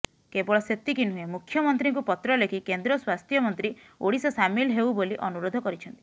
କେବଳ ସେତିକି ନୁେହଁ ମୁଖ୍ୟମନ୍ତ୍ରୀଙ୍କୁ ପତ୍ର ଲେଖି େକନ୍ଦ୍ର ସ୍ବାସ୍ଥ୍ୟମନ୍ତ୍ରୀ ଓଡ଼ିଶା ସାମିଲ େହଉ େବାଲି ଅନୁେରାଧ କରିଛନ୍ତି